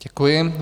Děkuji.